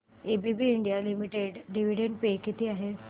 ABB India limited dividend pay किती आहे